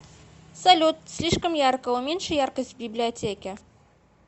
салют слишком ярко уменьши яркость в библиотеке